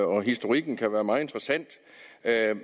om historikken kan være meget interessant